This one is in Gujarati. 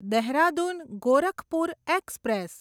દેહરાદૂન ગોરખપુર એક્સપ્રેસ